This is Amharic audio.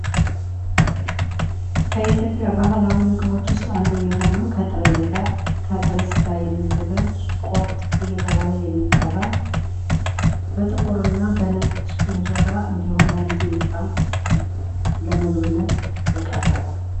ከኢትዮጵያ ባህላዊ ምግቦች ውስት አንዱ የሆነው አንዱ የሆነው የጥሬ ስጋ የሚዘጋጅ ቁርት እየተባለ ሚጠራ ፤ በጥቁር እና በ ነጭ እንጀራ እንዲሁም በሚጥሚጣ ለምግብነት የቀረበ።